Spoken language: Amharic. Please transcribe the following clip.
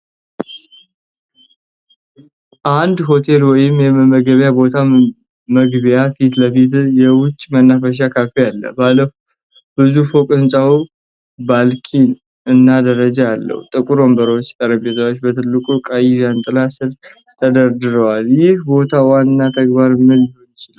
አንድ ሆቴል ወይም የመመገቢያ ቦታ መግቢያው ፊት ለፊት የውጪ መናፈሻ ካፌ አለው። ባለ ብዙ ፎቅ ህንጻው ባልክኒ እና ደረጃ አለው። ጥቁር ወንበሮችና ጠረጴዛዎች በትልቁ ቀይ ዣንጥላ ስር ተደርድረዋል። የዚህ ቦታ ዋና ተግባር ምን ሊሆን ይችላል?